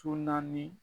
naani